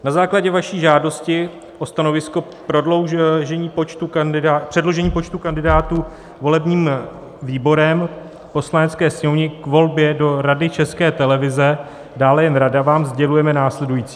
"Na základě vaší žádosti o stanovisko předložení počtu kandidátů volebním výborem Poslanecké sněmovně k volbě do Rady České televize, dále jen rada, vám sdělujeme následující.